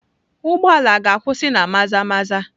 Ụgbọ ala a ga-akwụsị na Maza-maza?